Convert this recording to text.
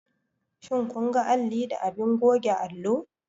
Shin kun ga alli da abin goge allo?